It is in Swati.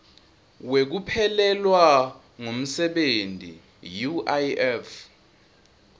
wekuphelelwa ngumsebenti uif